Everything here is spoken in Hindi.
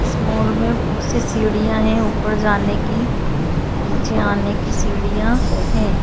इस मॉल में बहुत सी सीढ़िया है ऊपर जाने की नीचे आने की सीढ़िया है।